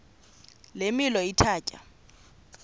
le milo ithatya